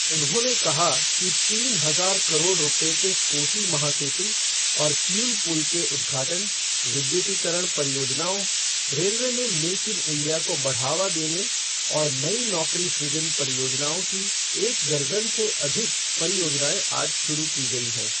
उन्होंने कहा कि तीन हजार करोड़ रुपये के कोसी महासेतु और किऊल पुल के उद्घाटन, विद्युतीकरण परियोजनाओं, रेलवे में मेक इन इंडिया को बढ़ावा देने और नई नौकरी सृजन परियोजनाओं की एक दर्जन से अधिक परियोजनाएं आज शुरू की गई हैं।